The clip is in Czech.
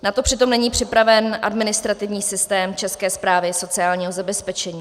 Na to přitom není připraven administrativní systém České správy sociálního zabezpečení.